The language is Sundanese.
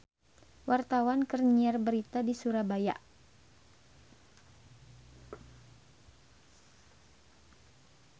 Wartawan keur nyiar berita di Surabaya